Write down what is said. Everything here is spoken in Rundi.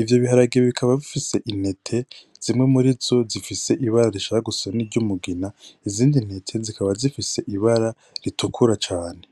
ivyo biharage bikaba bifise intete zimwe murizo zifise ibara rishaka gusa niry'umugina izindi ntete zikaba zifise ibara ritukura cane.